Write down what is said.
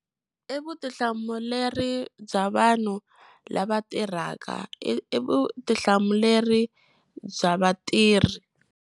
I vutihlamuleri bya vanhu lava tirhaka i i vutihlamuleri bya vatirhi.